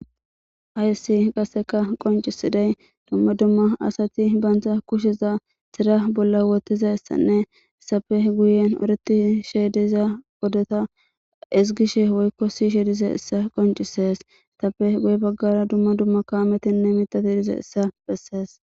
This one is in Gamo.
Hayssi qasseka qoncisiday dumma dumma asati baanta kusheza tira bolla wotizaysanne izappe guyen oreti sheediza odota isgishe woykko si sheediza issa qoncisees tappe guye baggara dumma dumma kaametinne mitati dize issa bessees